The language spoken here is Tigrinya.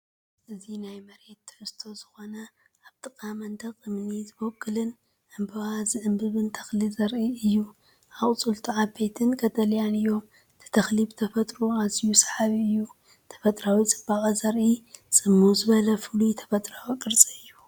እዚ፡ ናብ መሬት ትሑት ዝኾነን ኣብ ጥቓ መንደቕ እምኒ ዝበቁልን ዕምባባ ዝዓምብብ ተኽሊ ዘርኢ እዩ። ኣቝጽልቱ ዓበይትን ቀጠልያን እዮም። እቲ ተኽሊ ብተፈጥሮኡ ኣዝዩ ሰሓቢ እዩ። ተፈጥሮኣዊ ጽባቐ ዘርኢ ጽምው ዝበለን ፍሉይን ተፈጥሮኣዊ ቅርጺ እዩ።